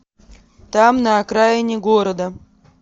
там на окраине города